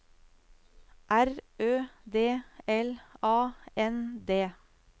R Ø D L A N D